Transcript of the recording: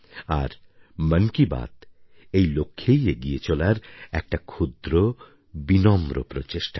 আর মন কি বাত এই লক্ষ্যে এগিয়ে চলার একটা ক্ষুদ্র বিনম্র প্রচেষ্টা